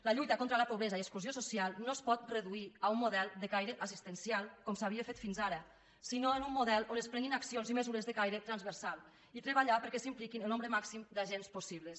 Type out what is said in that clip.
la lluita contra la pobresa i exclusió social no es pot reduir a un model de caire assistencial com s’havia fet fins ara sinó un model on es prenguin accions i mesures de caire transversal i treballar perquè s’hi impliquin el nombre màxim d’agents possible